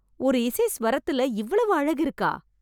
ஒரு இசை ஸ்வரத்துல இவ்வளவு அழகு இருக்கா